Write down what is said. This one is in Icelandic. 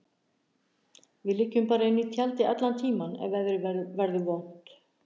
Við liggjum bara inni í tjaldi allan tímann ef veðrið verður vont.